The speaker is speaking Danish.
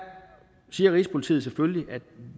siger rigspolitiet selvfølgelig at